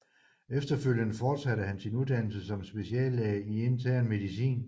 Efterfølgende fortsatte han sin uddannelse som speciallæge i Intern Medicin